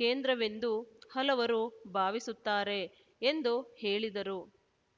ಕೇಂದ್ರವೆಂದು ಹಲವರು ಭಾವಿಸುತ್ತಾರೆ ಎಂದು ಹೇಳಿದರು